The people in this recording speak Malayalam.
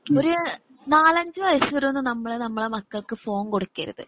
ഒരു നാലഞ്ചുവയസ്സുവരെയൊന്നും നമ്മളെ നമ്മളെ മക്കൾക്ക് ഫോൺ കൊടുക്കരുത്.